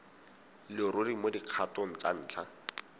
leruri mo dikgatong tsa ntlha